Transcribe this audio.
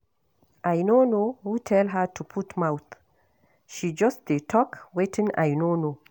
I no know who tell her to put mouth, she just dey talk wetin I no know